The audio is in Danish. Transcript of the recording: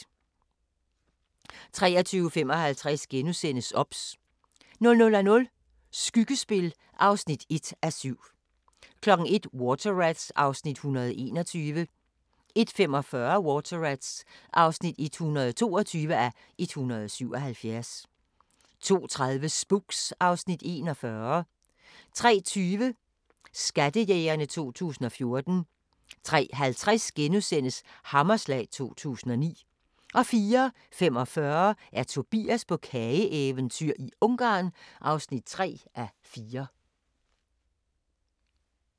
23:55: OBS * 00:00: Skyggespil (1:7) 01:00: Water Rats (121:177) 01:45: Water Rats (122:177) 02:30: Spooks (Afs. 41) 03:20: Skattejægerne 2014 03:50: Hammerslag 2009 * 04:45: Tobias på kageeventyr – Ungarn (3:4)